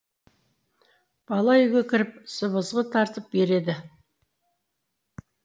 бала үйге кіріп сыбызғы тартып береді